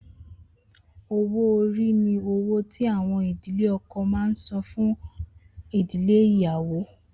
Owó orí ni owó tí àwọn ìdílé ọkọ máa ń san fún ìdílé ìyàwó